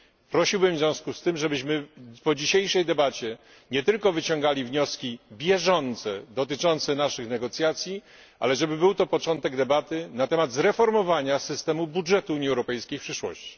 Prosiłbym w związku z tym, żebyśmy po dzisiejszej debacie nie tylko wyciągali wnioski bieżące dotyczące naszych negocjacji, ale żeby był to początek debaty na temat zreformowania systemu budżetu Unii Europejskiej w przyszłości.